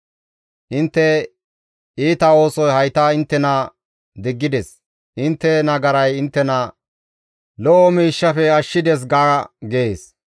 ‹Intte iita oosoy hayta inttena diggides. Intte nagaray inttena lo7o miishshafe ashshides› ga» gees.